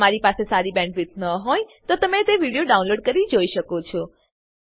જો તમારી પાસે સારી બેન્ડવિડ્થ ન હોય તો તમે વિડીયો ડાઉનલોડ કરીને જોઈ શકો છો